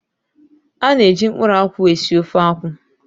A na-eji mkpụrụ akwụ esi ofe akwụ.